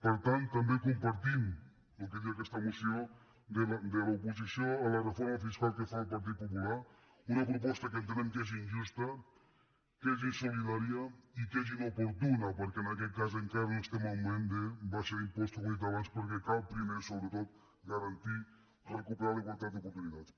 per tant també compartim el que diu aquesta moció de l’oposició a la reforma fiscal que fa el partit popu·lar una proposta que entenem que és injusta que és insolidària i que és inoportuna perquè en aquest cas encara no estem en el moment d’abaixar impostos com he dit abans perquè cal primer sobretot garantir recuperar la igualtat d’oportunitats